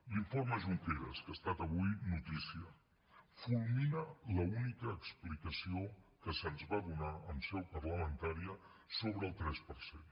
l’informe junqueras que ha estat avui notícia fulmina l’única explicació que se’ns va donar en seu parlamentària sobre el tres per cent